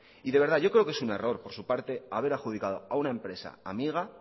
y de verdad yo creo que un error por su parte haber adjudicado a una empresa amiga